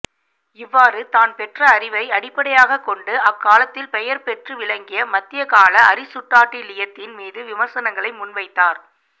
இவ்வாறு தான் பெற்ற அறிவை அடிப்படையாகக் கொண்டு அக்காலத்தில் பெயர் பெற்று விளங்கிய மத்தியகால அரிசுட்டாட்டிலியத்தின் மீது விமர்சனங்களை முன்வைத்தார்